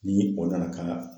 Ni o nana ka na